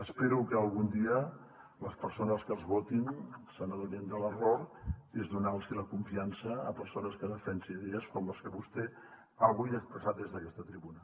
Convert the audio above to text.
espero que algun dia les persones que els votin se n’adonin de l’error que és donar los hi la confiança a persones que defensen idees com les que vostè avui ha expressat des d’aquesta tribuna